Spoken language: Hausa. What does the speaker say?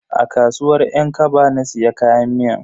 A kasuwar yan kaba na siya kayan miyan.